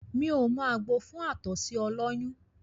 Mí ò mọ àgbo fún àtọ̀sí ọlọ́yún